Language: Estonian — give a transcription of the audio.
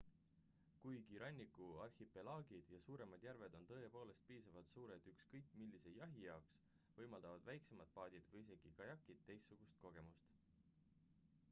kuigi ranniku arhipelaagid ja suuremad järved on tõepoolest piisavalt suured ükskõik millise jahi jaoks võimaldavad väiksemad paadid või isegi kajakid teistsugust kogemust